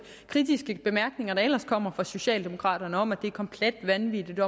kritiske bemærkninger der ellers kommer fra socialdemokraterne om at det er komplet vanvittigt